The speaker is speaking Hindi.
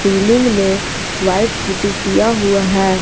सीलिंग में व्हाइट पुटी किया हुआ है।